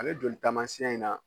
Ale joli taamasiyɛn in na